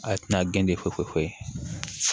A tina gɛn fo ye